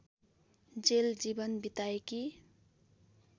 jail जीवन बिताएकी